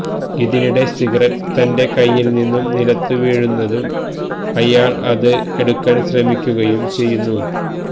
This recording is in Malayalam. ഇതിനിടെ സിഗിരറ്റ് തന്റെ കൈയിൽ നിന്ന് നിലത്തുവീഴുന്നതും ഇയാൾ അത് എടുക്കാൻ ശ്രമിക്കുകയും ചെയ്യുന്നു